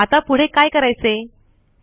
आता पुढे काय करायचे160